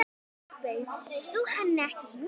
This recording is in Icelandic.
Bauðst þú henni ekki hingað?